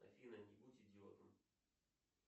афина не будь идиотом